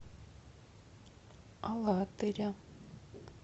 алатыря